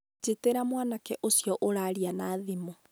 njĩtĩra mwanake ũcio ũraaria na thimũ